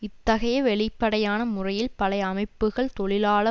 இத்தகைய வெளிப்படையான முறையில் பழைய அமைப்புக்கள் தொழிலாள